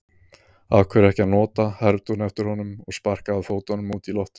Af hverju ekki að nota, hermdi hún eftir honum og sparkaði fótunum út í loftið.